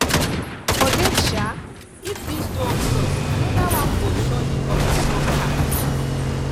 forget sha if this door close anoda one go surely open no cap